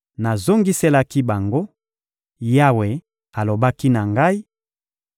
Nazongiselaki bango: — Yawe alobaki na ngai: